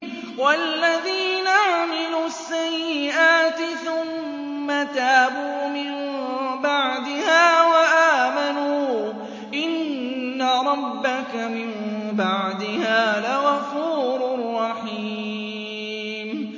وَالَّذِينَ عَمِلُوا السَّيِّئَاتِ ثُمَّ تَابُوا مِن بَعْدِهَا وَآمَنُوا إِنَّ رَبَّكَ مِن بَعْدِهَا لَغَفُورٌ رَّحِيمٌ